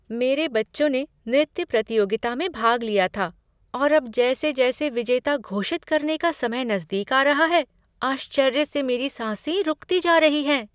मेरे बच्चों ने नृत्य प्रतियोगिता में भाग लिया था और अब जैसे जैसे विजेता घोषित करने का समय नज़दीक आ रहा है, आश्चर्य से मेरी साँसे रुकती जा रही हैं।